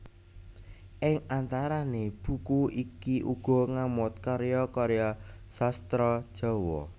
Ing antarané buku iki uga ngamot karya karya sastra Jawa